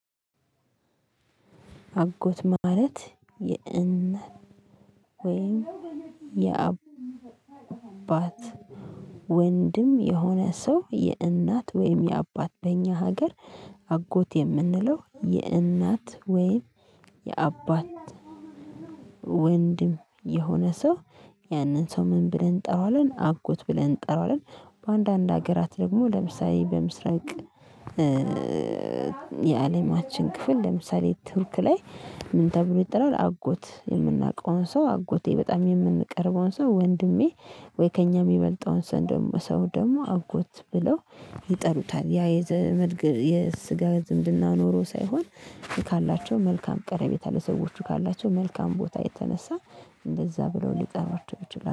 አጎት ማለት የእን ወይም የአባት ወንድም የሆነ ሰው የእናት ወይም የአባት በእኛ ሀገር አጎት የምንለው የእናት ወይም የአባት ወንድም የሆነ ሰው ያንን ሰው ምን ብለን እንጠራዋለን አጎት ብለን እንጠራዋለን በአንዳንድ ሀገራት ደግሞ ለምሳሌ በምስራቅ የአለማችን ክፍል ለምሳሌ ቱርክ ላይ ምን ተብሎ ይጠራል አጎት የምናውቀውን ሰው አጎቴ በጣም የምንቀርበውን ሰው ወንድሜ ወይ ከእኛ የሚበልጠውን ሰው ደግሞ ሰው ደግሞ አጎት ብለው ይጠሩታል። ያ የዘመድ የስጋ ዝምድና ኖሮ ሳይሆን ካላቸው መልካም ቀረበታ ለሰዎች ካላቸው መልካም ቦታ የተነሳ እንደዛ ብለው ልጠራቸው ይችላሉ።